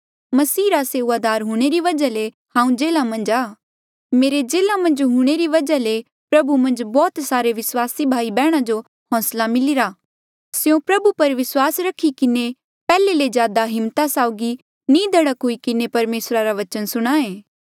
मेरे जेल्हा मन्झ हूंणे री वजहा ले प्रभु मन्झ बौह्त सारे विस्वासी भाई बैहणा जो होंसला मिलिरा स्यों प्रभु पर विस्वास रखी किन्हें पैहले ले ज्यादा हिम्मता साउगी निधड़क हुई किन्हें परमेसरा रा बचन सुणां ऐ